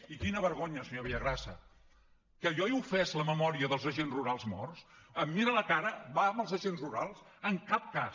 i quina vergonya senyor villagrasa que jo he ofès la memòria dels agents rurals morts em mira a la cara va amb els agents rurals en cap cas